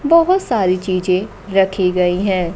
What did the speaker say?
बहोत सारी चीजे रखी गई है।